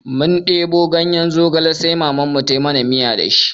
Mun ɗebo ganye zogale sai Mamanmu ta yi mana miya da shi.